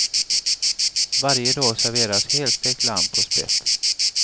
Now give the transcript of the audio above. Varje dag serveras helstekt lamm på spett.